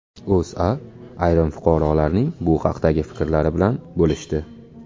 O‘zA ayrim fuqarolarning bu haqdagi fikrlari bilan bo‘lishdi .